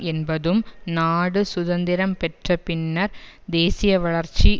என்பதும் நாடு சுதந்திரம் பெற்ற பின்னர் தேசிய வளர்ச்சி